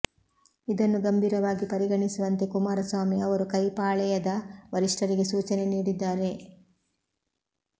ಇದನ್ನು ಗಂಭೀರವಾಗಿ ಪರಿಗಣಿಸುವಂತೆ ಕುಮಾರಸ್ವಾಮಿ ಅವರು ಕೈ ಪಾಳೆಯದ ವರಿಷ್ಟರಿಗೆ ಸೂಚನೆ ನೀಡಿದ್ದಾರೆ